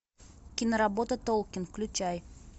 киноработа толкин включай